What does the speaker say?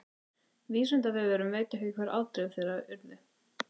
Vísindavefurinn veit ekki hver afdrif þeirra urðu.